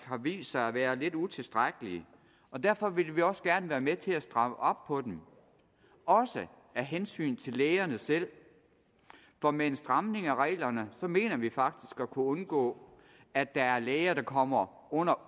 har vist sig at være lidt utilstrækkelige og derfor vil vi også gerne være med til at stramme op på dem også af hensyn til lægerne selv for med en stramning af reglerne mener vi faktisk at kunne undgås at der er læger der uberettiget kommer under